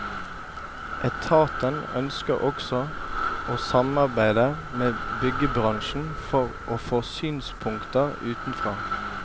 Etaten ønsker også å samarbeide med byggebransjen for å få synspunkter utenfra.